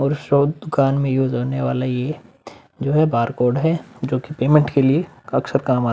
और सब दुकान में यूज़ होने वाला ये जो है बारकोड है जोकि पेमेंट के लिए अक्षर काम आ --